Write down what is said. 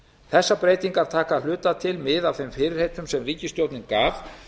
þessar breytingar taka að hluta til mið af þeim fyrirheitum sem ríkisstjórnin gaf